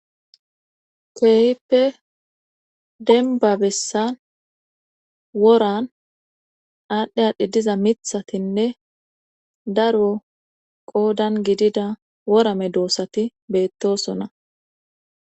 Keehippe denbabessan woran aadhdhe aadhdhe diza mithatinne daro qoodan gidida worame doossati beettosona.